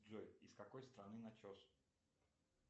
джой из какой страны начос